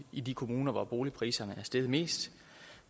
i de kommuner hvor boligpriserne er steget mest